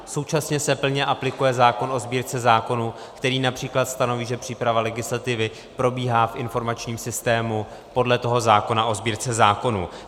Současně se plně aplikuje zákon o Sbírce zákonů, který například stanoví, že příprava legislativy probíhá v informačním systému podle toho zákona o Sbírce zákonů.